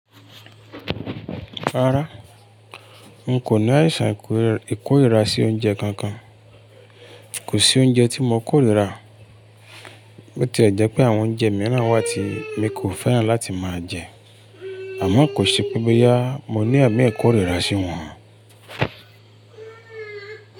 Rárá, n kò ní àìsàn ìkórìíra sí oúnjẹ kankan. Kò sí oúnjẹ tí mo kò lè rà. Bó tí è jẹ́ pé àwọn oúnjẹ mìíràn wà tí mi kò fẹ́ràn láti máa jẹ, àmọ́ kò ṣe pé bóyá mo ní ẹ̀mí ìkórìíra sí wọn.